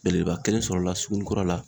Belebeleba kelen sɔrɔla sugunin kura la